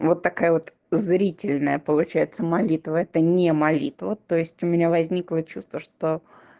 вот такая вот зрительная получается молитва это не молитва то есть у меня возникло чувство что